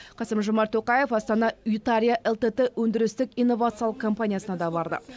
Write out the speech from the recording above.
қасым жомарт тоқаев астана ютария элтэдэ өндірістік инновациялық компаниясына да барды